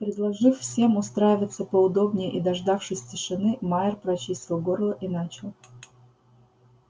предложив всем устраиваться поудобнее и дождавшись тишины майер прочистил горло и начал